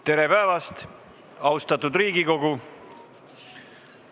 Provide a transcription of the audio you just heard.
Tere päevast, austatud Riigikogu!